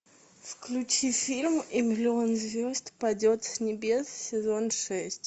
включи фильм и миллион звезд падет с небес сезон шесть